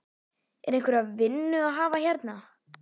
Er einhverja vinnu að hafa hérna?